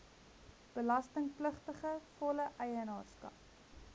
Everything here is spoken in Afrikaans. belastingpligtige volle eienaarskap